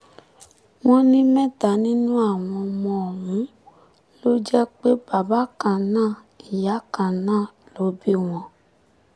wọ́n ní mẹ́ta nínú àwọn ọmọ ọ̀hún ló jẹ́ pé bàbá kan náà ìyá kan náà ló bí wọn